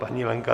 Paní Lenka